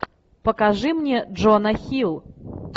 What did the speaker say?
покажи мне джона хилл